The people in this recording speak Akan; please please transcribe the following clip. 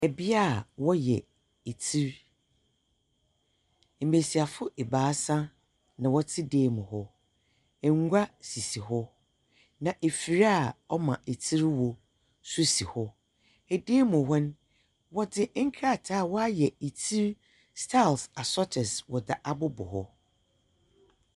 Bea a wɔyɛ tsir. Mbesiafo ebaasa na wɔte dam mu hɔ. Ngua sisi hɔ. Na afir a ɔma tsir wo so si hɔ. Edam mu hɔ no, wɔdze nkrataa a wɔayɛ tsir styles asɔtoɔ wɔdze abobɔ hɔ.